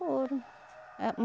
Foram ah